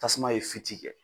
Tasuma ye kɛ